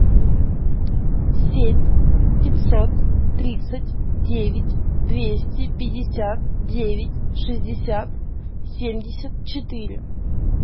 семь пятьсот тридцать девять двести пятьдесят девять шестьдесят семьдесят четыре